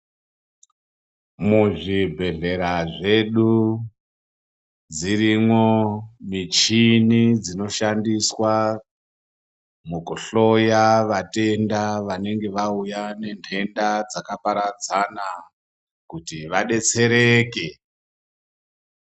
Muzvibhedhlera zvedu, dzirimo michini dzinoshandiswa mukuhloya vatenda vanenge vawuya nendenda dzakaparadzana, kuti vadetsereke.